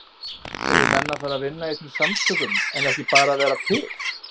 Eru menn að fara að vinna í þessum samtökum en ekki bara vera til?